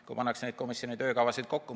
Kui pannakse komisjoni töökavasid kokku ...